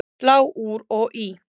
Slá úr og í